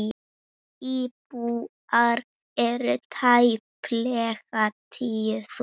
Íbúar eru tæplega tíu þúsund.